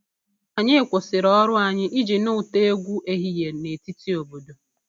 Anyị kwụsịrị ọrụ anyị iji nụ ụtọ egwu ehihie na etiti obodo